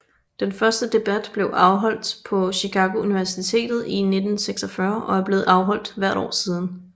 Den første debat blev afholdt på Chicago Universitet i 1946 og er blevet afholdt hvert år siden